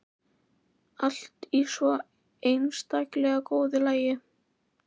Allt í svo einstaklega góðu lagi.